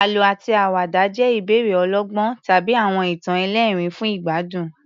Àlọ́ àti àwàdà jẹ́ ìbéèrè ọlọ́gbọ́n tàbí àwọn ìtàn ẹlẹ́rìn-ín fún ìgbádùn.